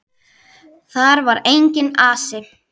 Þar var enginn asi.